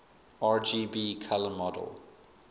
rgb color model